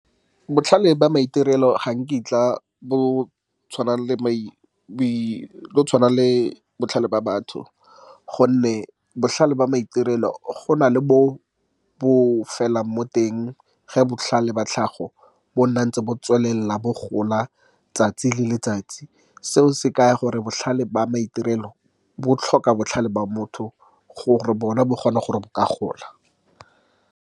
Botlhale ba maitirelo ga nkitla bo tshwana le botlhale ba batho, gonne botlhale ba maitirelo gona le bo bo felelang mo teng. Ge botlhale ba tlhago bo nna ntse bo tswelela, bo gola letsatsi le letsatsi. Seo se kaya gore botlhale ba maitirelo bo tlhoka botlhale ba motho, gore bona bo kgone gore bo ka gola.